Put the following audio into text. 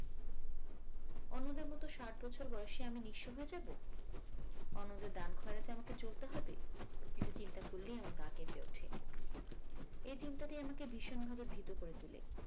অন্যদের মত ষাট বছর বয়সে আমি নিঃস্ব হয়ে যাবো? অন্যদের দান খয়রাতে আমাদের চলতে হবে? এটা চিন্তা করলেই আমার গা কেঁপে ওঠে এই চিন্তাটি আমাকে ভীষনভাবে ভীত করে তোলে।